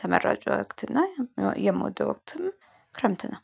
ተመራጭ ወቅት እና የምወደው ወቅትም ክረምት ነው።